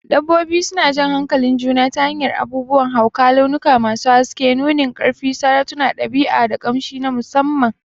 Dabbobi suna jan hankalin juna ta hanyar abubuwan hauka, launuka masu haske, nunin ƙarfi, sautunan ɗabi'a, da ƙamshi na musamman.